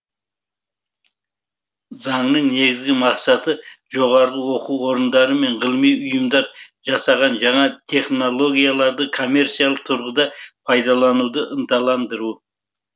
заңның негізгі мақсаты жоғары оқу орындары мен ғылыми ұйымдар жасаған жаңа технологияларды коммерциялық тұрғыда пайдалануды ынталандыру